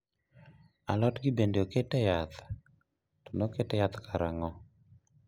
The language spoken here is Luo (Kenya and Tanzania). alod gi bende oketye yath, to noket yath karang'o?